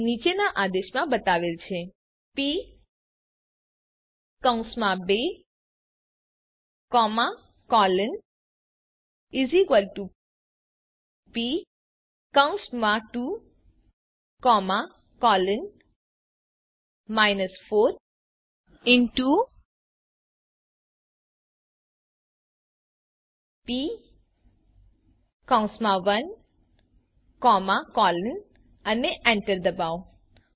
જે નીચેના આદેશમાં બતાવેલ છે P2 P2 4P1 અને એન્ટર ડબાઓ